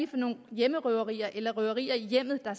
for nogle hjemmerøverier eller røverier i hjemmet der